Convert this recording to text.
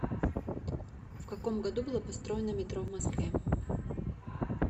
в каком году было построено метро в москве